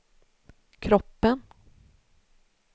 kroppen